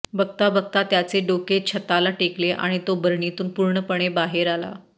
बघता बघता त्याचे डोके छताला टेकले आणि तो बरणीतून पूर्णपणे बाहेर आला